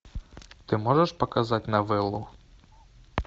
ты можешь показать новеллу